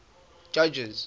judges